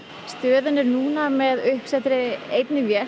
stöðin er núna með uppsettri einni vél